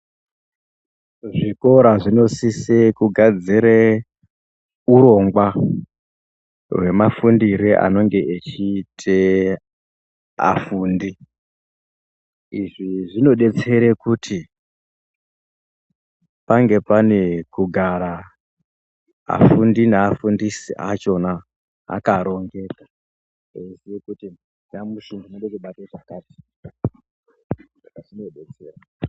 Zvikora zvinosise kugadzire urongwa hwemafundire anenge echiite afundi, izvi zvinodetsere kuti pange pane kugara afundi nevafundisi achona akarongeka eiziye kuti nyamushi ndinode kubata pakat, zvinodetsera.